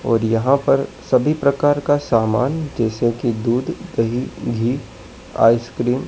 और यहां पर सभी प्रकार का सामान जैसे कि दूध दही घी आइसक्रीम --